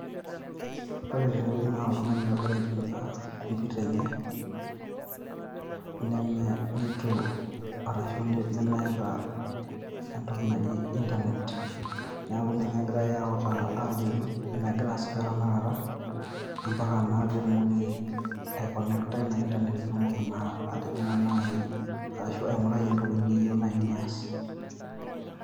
Ore tene wueji naa oltung`ani ogira aitumia computer enye neme, neitu arashu nemeeta entoki naji internet. Niaku ninye egirai autaa aajoki mmegira aasisho tenakata mpaka naa pee itumoki ai connect aa ina internet pee itumoki naa atijing`a naaji arashu aing`urai entoki niyieu naaji niyas.